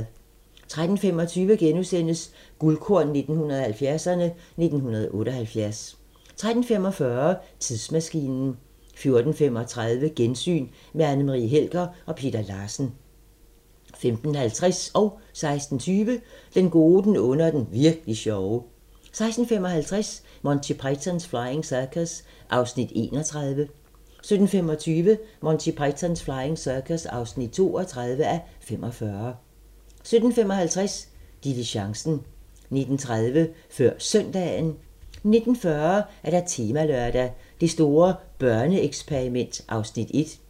13:25: Guldkorn 1970'erne: 1978 * 13:45: Tidsmaskinen 14:35: Gensyn med Anne Marie Helger og Peter Larsen 15:50: Den gode, den onde og den virk'li sjove 16:20: Den gode, den onde og den virk'li sjove 16:55: Monty Python's Flying Circus (31:45) 17:25: Monty Python's Flying Circus (32:45) 17:55: Diligencen 19:30: Før Søndagen 19:40: Temalørdag: Det store børneeksperiment (Afs. 1)